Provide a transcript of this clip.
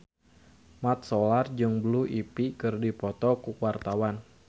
Mat Solar jeung Blue Ivy keur dipoto ku wartawan